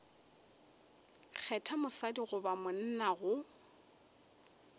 kgetha mosadi goba monna go